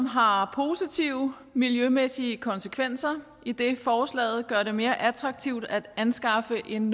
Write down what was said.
har positive miljømæssige konsekvenser idet forslaget gør det mere attraktivt at anskaffe en